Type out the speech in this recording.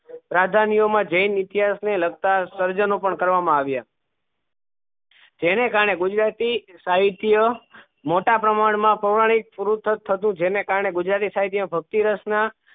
રાજ્ધાનીયો માં જેન ઈતિહાસ ને લગતા સર્જનો પણ કરવા મા આવ્યા એને કારને ગુજરાતી સાહિત્ય મોટા પ્રમાણ માં પુરાનિક પુસ્ત્વ થતું હતું જેના કારને ગુજરાતી સાહિત્ય ભક્તિ રસ ના